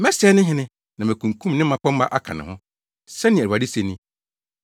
Mɛsɛe ne hene na makunkum ne mmapɔmma aka ne ho,” sɛnea Awurade se ni.